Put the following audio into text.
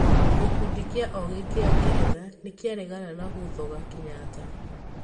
gikundi gĩa ogĩ kĩa ngeretha nĩkĩaregana na gũthoga Kenyatta